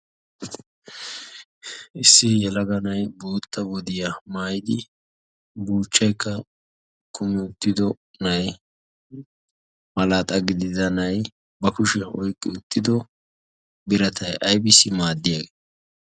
issi yalaganay bootta wodiyaa maayidi burchcheekka kumiyttido nay malaaxa gididanay ba kushiyan oyqqi uttido biratay ibisi maaddiyaagee